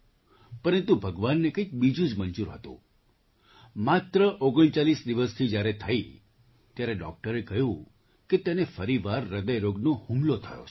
પરંતુ ભગવાનને કંઈક બીજું જ મંજૂર હતું માત્ર ૩૯ દિવસની જ્યારે થઈ ત્યારે ડૉક્ટરે કહ્યું કે તેને ફરી વાર હૃદયરોગનો હુમલો થયો છે